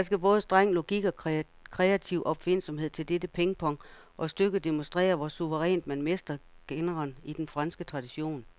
Der skal både streng logik og kreativ opfindsomhed til dette pingpong, og stykket demonstrerer, hvor suverænt man mestrer genren i den franske tradition.